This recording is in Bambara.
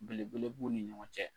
Belebele b'u ni ɲɔgɔn cɛ.